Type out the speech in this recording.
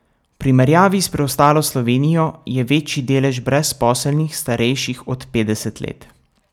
V primerjavi s preostalo Slovenijo je večji delež brezposelnih, starejših od petdeset let.